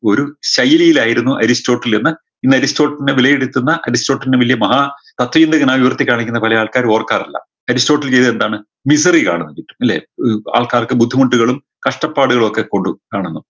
ഒരു ശൈലിയിലായിരുന്നു അരിസ്റ്റോട്ടിൽ എന്ന ഇന്ന് അരിസ്റ്റോട്ടിലിനെ വിലയിരുത്തുന്ന അരിസ്റ്റോട്ടിലിനെ വലിയ മഹാ തത്ത്വ ചിന്തകനായ് ഉയർത്തി കാണിക്കുന്ന പലേ ആൾക്കാരും ഓർക്കാറില്ല അരിസ്റ്റോട്ടിൽ ചെയ്തത് എന്താണ് ആരംഭിച്ചു ഇല്ലേ ഉം ആൾക്കാർക്ക് ബുദ്ധിമുട്ടുകളും കഷ്ടപ്പാടുകളുമൊക്കെ കൊണ്ട് കാണുന്നു